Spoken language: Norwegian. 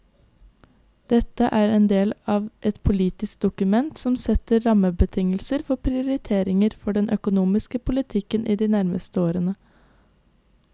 Dette er en del av et politisk dokument som setter rammebetingelser for prioriteringer for den økonomiske politikken de nærmeste årene.